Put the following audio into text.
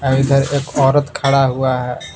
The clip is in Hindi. और इधर एक औरत खड़ा हुआ है।